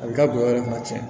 A bɛ taa bɔrɔ yɛrɛ tuma caman